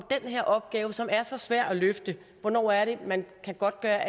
her opgave som er så svær at løfte hvornår er det man kan godtgøre